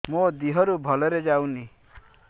ମୋ ଦିହରୁ ଭଲରେ ଯାଉନି